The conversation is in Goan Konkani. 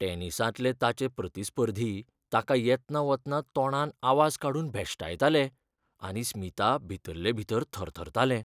टेनिसांतलें ताचें प्रतिस्पर्धी ताका येतना वतना तोंडान आवाज काडून भेश्टायतालें आनी स्मिता भितल्ले भीतर थरथरतालें.